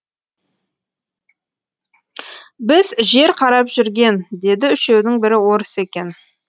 біз жер қарап жүрген деді үшеудің бірі орыс екен